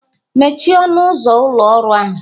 Mechie ọnụ ụzọ ụlọ ọrụ ahụ!